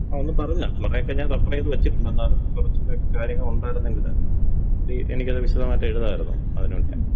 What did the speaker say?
ആ ഒന്ന് പറഞ്ഞു താ കൊറേക്കെ ഞാൻ റെഫറീത് വെച്ചിട്ടുണ്ട് എന്നാലും കൊറച്ചൂടെ കാര്യങ്ങള് ഒണ്ടായിരുന്നെങ്കില് ഇത് എനിക്കത് വിശദമായി എഴുതാമായിരുന്നു അതിന് വേണ്ടിയാ.